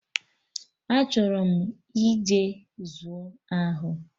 Achọrọ m ije zuu ahụ